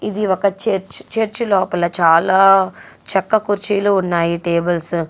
ఇది ఒక church . Church లోపల చాలా చెక్క కుర్చీలు ఉన్నాయి.టేబుల్స్ --